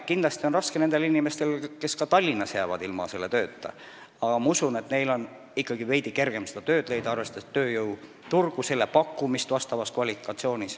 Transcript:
Kindlasti on raske ka nendel inimestel, kes Tallinnas tööta jäävad, aga ma usun, et neil on ikkagi veidi kergem uut tööd leida, arvestades tööjõuturgu ja nende kvalifikatsioonile vastavaid pakkumisi.